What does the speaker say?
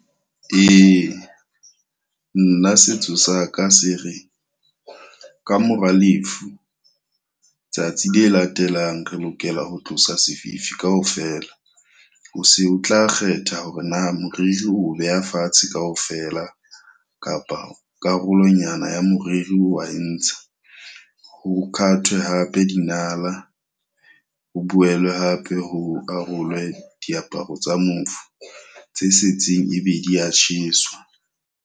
Ee, nna setso sa ka se re ka mora lefu, tsatsi le latelang re lokela ho tlosa sefifi ka ofela. O se o tla kgetha hore na moriri o beha fatshe ka ofela kapa karolonyana ya moriri wa e ntsha. Ho kathwe hape dinala, ho boelwe hape ho arolwe diaparo tsa mofu, tse setseng e be di ya tjheswa.